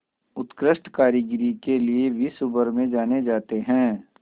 उत्कृष्ट कारीगरी के लिये विश्वभर में जाने जाते हैं